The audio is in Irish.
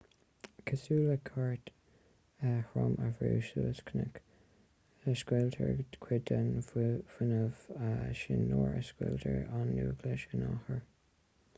cosúil le cairt throm a bhrú suas cnoc scaoiltear cuid den fhuinneamh sin nuair a scoiltear an núicléas in athuair